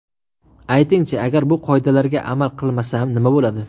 Aytingchi, agar bu qoidalarga amal qilmasam, nima bo‘ladi?